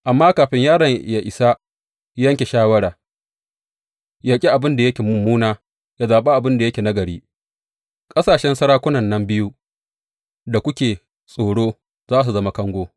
Amma kafin yaron yă isa yanke shawara yă ƙi abin da yake mummuna, yă zaɓi abin da yake nagari, ƙasashen sarakunan nan biyu da kuke tsoro za su zama kango.